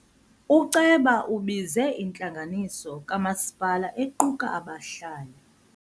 Uceba ubize intlanganiso kamasipala equka abahlali.